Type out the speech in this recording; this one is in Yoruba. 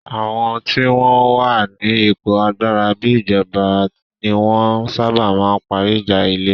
Àwọn tí wọ́n wà ní ipò agbára bíi ìjọba ní wọ́n ń sábà ma ń parí ìjà ilẹ̀